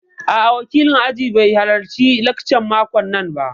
A'a, wakilin ajin bai halarci laccan makon nan ba